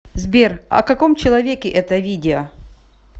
сбер о каком человеке это видео